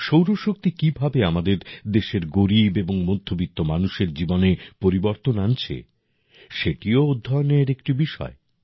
সৌর শক্তি কীভাবে আমাদের দেশের গরিব এবং মধ্যবিত্ত মানুষের জীবনে পরিবর্তন আনছে সেটিও অধ্যয়নের একটি বিষয়